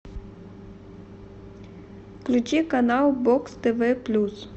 включи канал бокс тв плюс